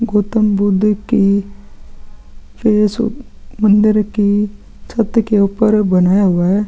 गौतम बुद्ध की फेस अंदर के छत के ऊपर बनाया हुआ है।